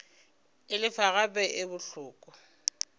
e lefa gape e bohloko